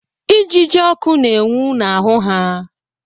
Ijiji ọkụ na-enwu n'ahụ ha.